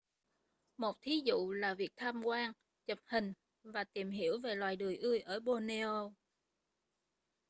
một thí dụ là việc tham quan chụp hình và tìm hiểu về loài đười ươi ở borneo